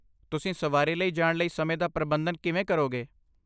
ਤੁਸੀਂ ਸਵਾਰੀ ਲਈ ਜਾਣ ਲਈ ਸਮੇਂ ਦਾ ਪ੍ਰਬੰਧਨ ਕਿਵੇਂ ਕਰੋਗੇ?